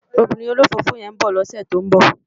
Òbìrín ólófófó yèn n bò lòsè tó n bò